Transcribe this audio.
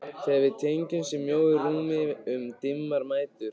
Þegar við tengdumst í mjóu rúmi um dimmar nætur.